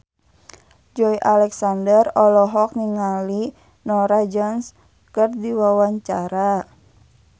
Joey Alexander olohok ningali Norah Jones keur diwawancara